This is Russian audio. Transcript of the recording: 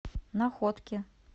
находке